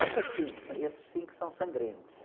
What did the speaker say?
Essas, esses são sangrentos.